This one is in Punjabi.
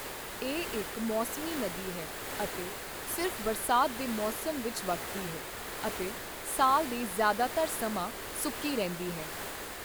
ਇਹ ਇੱਕ ਮੌਸਮੀ ਨਦੀ ਹੈ ਅਤੇ ਸਿਰਫ ਬਰਸਾਤ ਦੇ ਮੌਸਮ ਵਿੱਚ ਵਗਦੀ ਹੈ ਅਤੇ ਸਾਲ ਦੇ ਜ਼ਿਆਦਾਤਰ ਸਮਾਂ ਸੁੱਕੀ ਰਹਿੰਦੀ ਹੈ।